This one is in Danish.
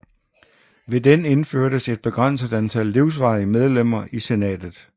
Ved den indførtes et begrænset antal livsvarige medlemmer i senatet